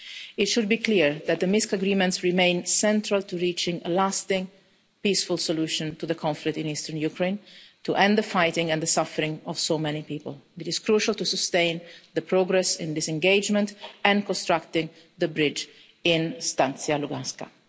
It should be clear that the Minsk agreements remain central to reaching a lasting peaceful solution to the conflict in eastern Ukraine, to end the fighting and the suffering of so many people. It is crucial to sustain the progress in disengagement and constructing the bridge in Stanytsia Luhanska.